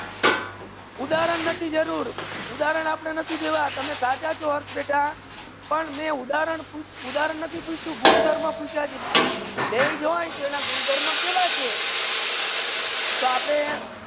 ઉદાહરણો નથી જરુર ઉદાહરણો આપને નથી દેવા તમે સચ્ચા છો અર્થ બેટા પણ મે ઉદાહરણ નથી પૂછ્યું ગુંધર્વ પૂછ્યું છે બેસે હોય તો એના ગુંધર્વ કહે કે તો આપડે